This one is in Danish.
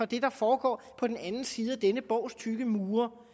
det der foregår på den anden side af denne borgs tykke mure hvor